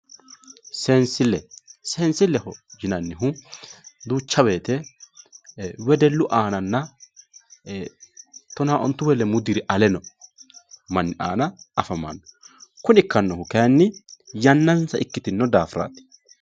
seensille seensilleho yinannihu duucha woyiite wedellu aananna tonaa ontu woyi lemuu diri ale no manni aana afamanno kuni ikkannohu kayeeenni yannansa ikkitino daafiraati